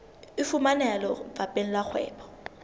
e fumaneha lefapheng la kgwebo